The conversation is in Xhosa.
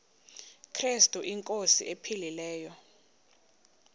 krestu inkosi ephilileyo